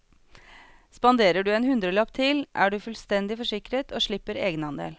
Spanderer du en hundrelapp til, er du fullstendig forsikret og slipper egenandel.